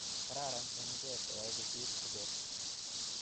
kararan eng ichek koyai kosir ichek